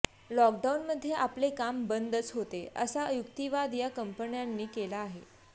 लॉकडाउनमध्ये आपले काम बंदच होते असा युक्तिवाद या कंपन्यांनी केला आहे